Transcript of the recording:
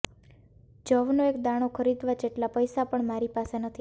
જવનો એક દાણો ખરીદવા જેટલા પૈસા પણ મારી પાસે નથી